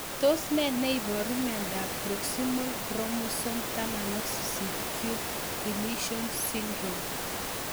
Tos nee neiparu miondop Proximal chromosome 18q deletion syndrome?